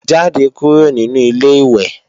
Jáde kúrò nínu Ilé-ìwẹ̀!